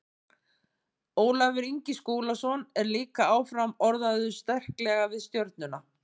Ólafur Ingi Skúlason er líka áfram orðaður sterklega við Stjörnuna.